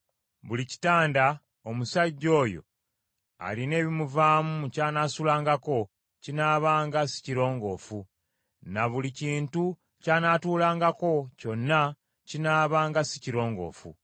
“Buli kitanda omusajja oyo alina ebimuvaamu ky’anaasulangako kinaabanga si kirongoofu, ne buli kintu ky’anaatuulangako kyonna kinaabanga si kirongoofu.